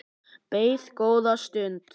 Beið góða stund.